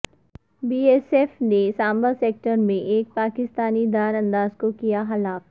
be S F نے Samba sector میں ایک پاکستانی درانداز کو کیا ہلاک